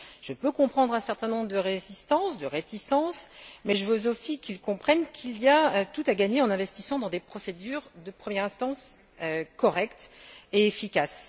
Je peux comprendre qu'il y ait un certain nombre de résistances, de réticences, mais je veux aussi qu'ils comprennent qu'il y a tout à gagner en investissant dans des procédures de première instance correctes et efficaces.